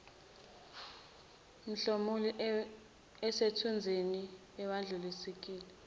mhlomulo osethuluzini awedluliseki